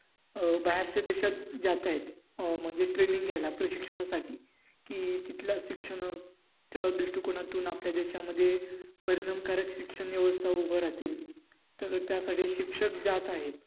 अं बाहेरच्या देशात जात आहेत अं म्हणजे training घ्यायला प्रशिक्षण साठी कि तिथल्या शिक्षणाच्या दृष्ठीकोनातून आपल्या देशामध्ये परिणाम कारक शिक्षण व्यवस्था उभं रहातील त्यासाठी शिक्षक जात आहेत.